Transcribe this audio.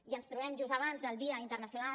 i ens trobem just abans del dia internacional